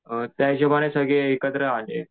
अ त्या हिशोबाने सगळे एकत्र आले.